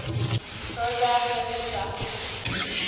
program differed drastically